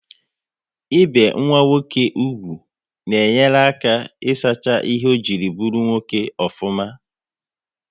Ị be nwa nwoke úgwù na enyere ha aka isacha ihe ọ jiri bụrụ nwoke ofuma